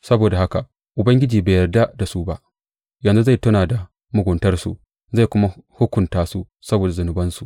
Saboda haka Ubangiji bai yarda da su ba; yanzu zai tuna da muguntarsu zai kuma hukunta su saboda zunubansu.